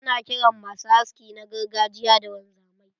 Ana kiran masu haski na gargajiya da wanzamai.